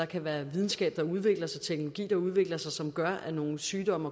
kan være videnskab der udvikles teknologi der udvikles og som gør at nogle sygdomme